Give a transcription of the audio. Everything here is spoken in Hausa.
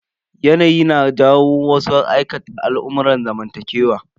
Yanayi na jawo wasu aikata al'amurran zamantakewa.